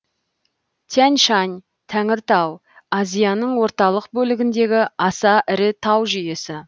тянь шань тәңіртау азияның орталық бөлігіндегі аса ірі тау жүйесі